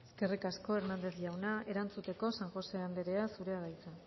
eskerrik asko hernández jauna erantzuteko san josé anderea zurea da hitza